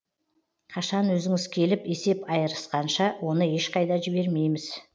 қашан өзіңіз келіп есеп айырысқанша оны ешқайда жібермейміз